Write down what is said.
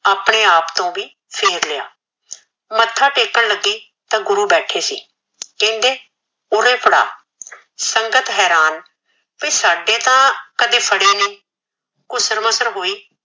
ਆਪਣੇ ਆਪ ਤੋਂ ਵੀ ਫੇਰ ਲਿਆ ਮਥਾ ਟੈਕਨ ਲਗੀ ਤਾ ਗੁਰੂ ਬੈਠੇ ਸੀ ਕਹਿੰਦੇ ਓਰੇ ਫੜਾ ਸੰਗਤ ਹੇਰਾਨ ਕੇ ਸਾਡੇ ਤਾ ਫੜਿਆ ਨੀ ਗੁਸਰ ਮੁਸਰ ਹੋਈ